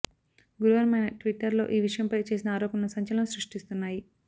గురువారం ఆయన ట్విట్టర్ లో ఈ విషయంపై చేసిన ఆరోపణలు సంచలనం సృష్టిస్తున్నాయి